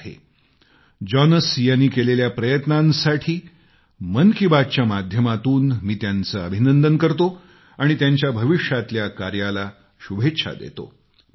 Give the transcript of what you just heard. मन की बातच्या माध्यमातून जॉनस यांनी केलेल्या प्रयत्नांसाठी मी त्यांचे अभिनंदन करतो आणि त्यांच्या भविष्यातल्या कार्याला शुभेच्छा देतो